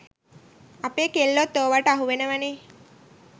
අපේ කෙල්ලොත් ඕවට අහුවෙනවනේ